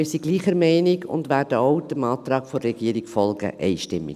Wir sind gleicher Meinung und werden auch dem Antrag der Regierung folgen, einstimmig.